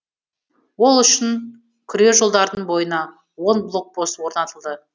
ол үшін күре жолдардың бойына он блокпост орнатылды